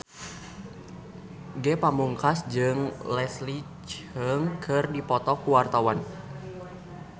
Ge Pamungkas jeung Leslie Cheung keur dipoto ku wartawan